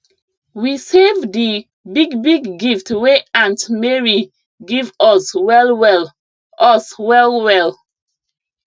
we save di big big gift wey aunt mary give us well well us well well